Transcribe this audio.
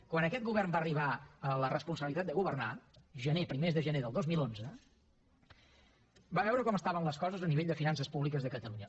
quan aquest govern va arribar a la responsabilitat de governar gener primers de gener del dos mil onze va veure com estaven les coses a nivell de finances públiques de catalunya